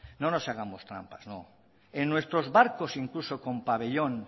no nos hagamos trampas no en nuestros barcos incluso con pabellón